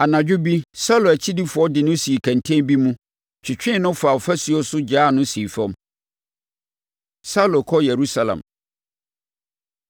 Anadwo bi Saulo akyidifoɔ de no sii kɛntɛn bi mu, twetwee no faa ɔfasuo so gyaa no sii fam. Saulo Kɔ Yerusalem